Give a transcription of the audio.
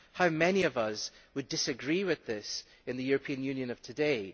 How many of us would disagree with this in the European Union of today?